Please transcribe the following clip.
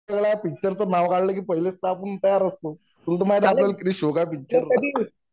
picture च नाव काढला की पहिलेच तर आपण तयार असतो, तुल तर माहितीय आपल्याल किती शोक आहे पिक्चर चा